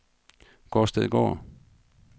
Gårdstedgård